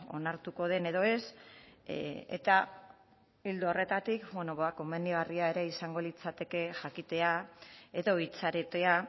onartuko den edo ez eta ildo horretatik bueno ba komenigarria ere izango litzateke jakitea edo itxarotea